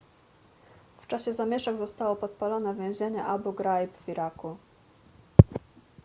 w czasie zamieszek zostało podpalone więzienie abu ghraib w iraku